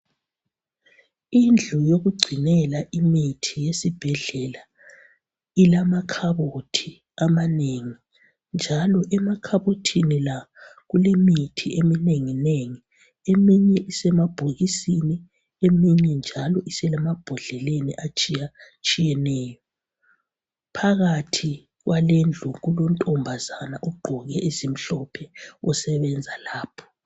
Indlu yokugcinela imithi esibhedlela, ilamakhabothi amanengi njalo emakhabothini la kulemithi eminenginengi. Eminye isemabhokisini, eminye njalo isemambodleleni atshiyatshiyeneyo. Phakathi kwalendlu kulontombazana ogqoke ezimhlophe osebenza lapha